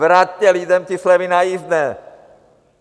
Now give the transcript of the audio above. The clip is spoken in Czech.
Vraťte lidem ty slevy na jízdné!